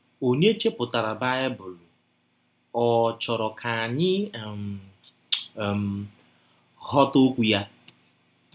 Ọnye chepụtara baịbụl ọ̀ chọrọ ka anyị um um ghọta okwụ ya?